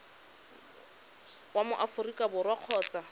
wa mo aforika borwa kgotsa